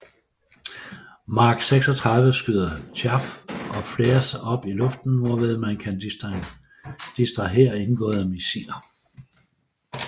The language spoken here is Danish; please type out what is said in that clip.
Mark 36 skyder chaff og flares op i luften hvorved man kan distrahere indgående missiler